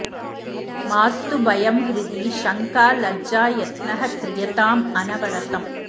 मास्तु भयं हृदि शङ्का लज्जा यत्नः क्रियतां अनवरतम्